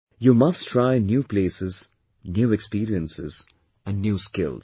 You must try new places, new experiences and new skills